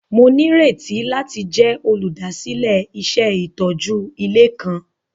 Mo nírètí láti jẹ olúdásílẹ̀ iṣẹ itójú ilé kan.